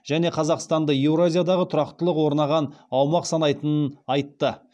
және қазақстанды еуразиядағы тұрақтылық орнаған аумақ санайтынын айтты